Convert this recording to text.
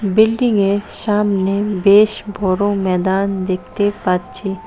বিল্ডিংয়ের সামনে বেশ বড়ো ম্যাদান দেখতে পাচ্ছি।